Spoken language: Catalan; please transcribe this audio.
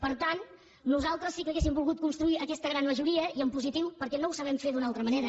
per tant nosaltres sí que hauríem volgut construir aquesta gran majoria i en positiu perquè no ho sabem fer d’una altra manera